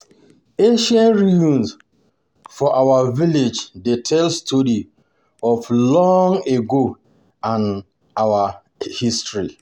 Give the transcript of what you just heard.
Ancient ruins for our village dey tell story of long ago and our history.